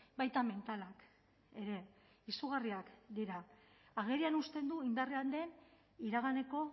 baita mentalak ere izugarriak dira agerian uzten du indarrean den iraganeko